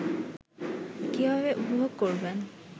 কীভাবে উপভোগ করবেন